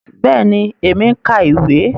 Bẹẹni, èmi n ka ìwé.